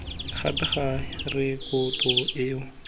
gape ga rekoto eo gongwe